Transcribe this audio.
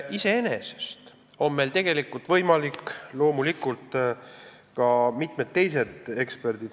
Iseenesest on võimalik see, millele on viidanud ka mitmed teised eksperdid.